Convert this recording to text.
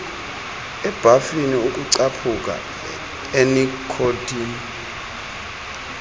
ebhafini ukucaphuka enikhothini